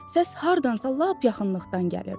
Səs hardansa lap yaxınlıqdan gəlirdi.